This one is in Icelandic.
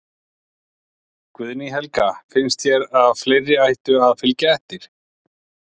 Guðný Helga: Finnst þér að fleiri ættu að, að fylgja eftir?